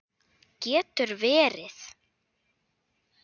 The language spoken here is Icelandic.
Getur verið?